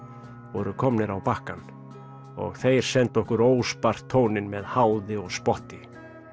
voru komnir á bakkann og þeir sendu okkur óspart tóninn með háði og spotti